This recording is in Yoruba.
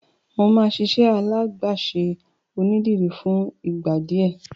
Mo máa ṣiṣẹ́ alágbàṣe onídìrí fún ìgbà díẹ̀.